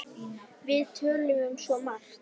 Við töluðum um svo margt.